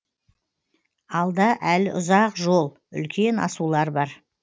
алда әлі ұзақ жол үлкен асулар бар